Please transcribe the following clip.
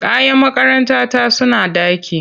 Kayan makarantata suna ɗaki.